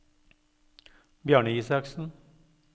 Bjarne Isaksen